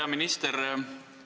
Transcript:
Hea minister!